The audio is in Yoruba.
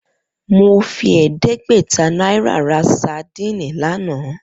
Mo fi è̩é̩dé̩gbè̩ta náírà ra sadíìnì lánàá